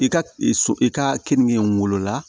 I ka so i ka keninke wolola